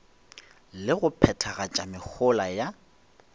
le go phethagatša mehola ya